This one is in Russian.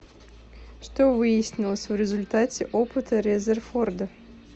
что выяснилось в результате опыта резерфорда